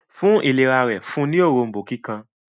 fún ìlera rẹ̀ fún ní Òrombó kíkan